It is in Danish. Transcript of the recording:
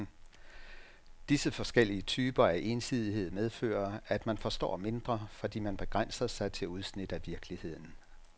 Disse forskellige typer af ensidighed medfører, at man forstår mindre, fordi man begrænser sig til udsnit af virkeligheden.